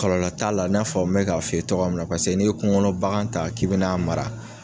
Kɔlɔlɔ t'a la n'a fɔ me bɛ k'a f'i ye cogoya min na paseke n'i ye kungo kɔnɔ bagan ta k'i bɛ n'a mara